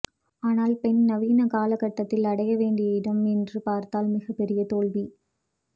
ஆனால் பெண் நவீன காலகட்டத்தில் அடையவேண்டிய இடம் என்று பார்த்தால் மிகப்பெரிய தோல்வி